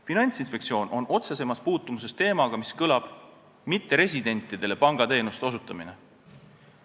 Finantsinspektsioon on otsesemas puutumuses teemaga, mis kõlab nii: mitteresidentidele pangateenuste osutamine.